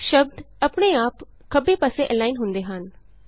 ਸ਼ਬਦ ਆਪਣੇ ਆਪ ਖੱਬੇ ਪਾਸੇ ਅਲਾਈਨ ਹੁੰਦੇ ਹਨ